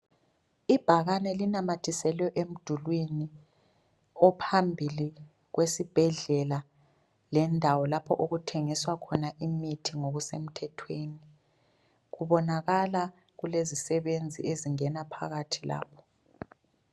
Ibhakane linamathiselwe emdulwini ophambili kwesibhedlela lendawo lapho okuthengiswa khona imithi ngokusemthethweni. Kubonakala kulezisebenzi ezingena phakathi lapho.